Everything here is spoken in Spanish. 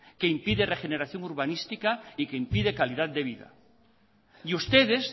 que impide la regeneración urbanística y que impide calidad de vida y ustedes